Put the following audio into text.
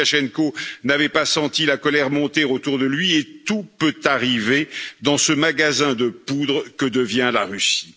Loukachenko n'avait pas senti la colère monter autour de lui et tout peut arriver dans ce magasin de poudre que devient la Russie.